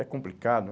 É complicado.